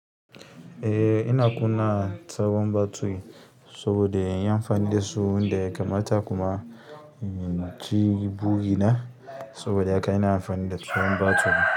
Eh ina kunna sabon battery saboda inyi amfanin da su wanda ya kamata kuma ji burina saboda haka ina amfani da tsohon battery.